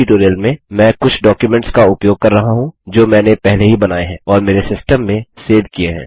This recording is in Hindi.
इस ट्यूटोरियम में मैं कुछ डॉक्युमेंट्स का उपयोग कर रहा हूँ जो मैंने पहले ही बनाये हैं और मेरे सिस्टम में सेव किये हैं